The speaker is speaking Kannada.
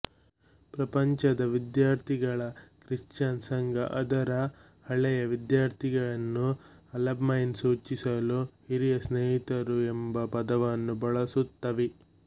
ಪ್ರಪಂಚದ ವಿದ್ಯಾರ್ಥಿಗಳ ಕ್ರಿಶ್ಚಿನ್ ಸಂಘ ಅದರ ಹಳೆಯ ವಿದ್ಯಾರ್ಥಿಯನ್ನು ಅಲಮ್ನೈ ಸೂಚಿಸಲು ಹಿರಿಯ ಸ್ನೇಹಿತರು ಎಂಬ ಪದವನ್ನು ಬಳಸುತ್ತವೆ